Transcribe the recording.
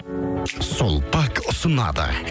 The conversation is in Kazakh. сулпак ұсынады